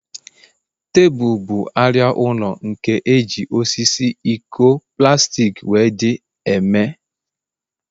Tebụl bụ arịa ụlọ, nke eji osisi, iko, plastik wdg eme